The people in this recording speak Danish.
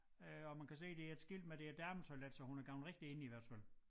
Øh man kan se der er et skilt med det er et dametoilet så hun er gået rigtigt ind i hvert fald